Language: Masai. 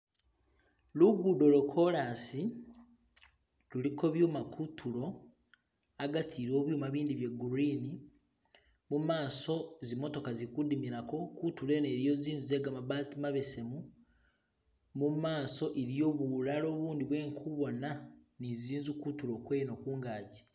Luguudo lwa kolaasi luliko byuma kuntulo agati byuma bindi bya gurini mumaso zimitoka zili kudimilako kuntulo eno iliyo zinzu zegamabati mabesemu mumaaso iliyo bulalo bundi bwendikuboona ni zinzu kuntulo kweno kungaji.